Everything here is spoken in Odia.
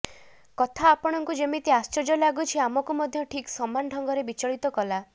କଥା ଆପଣଙ୍କୁ ଯେମିତି ଆଶ୍ଚର୍ଯ୍ୟ ଲାଗୁଛି ଆମକୁ ମଧ୍ୟ ଠିକ ସମାନ ଢଙ୍ଗରେ ବିଚଳିତ କଲା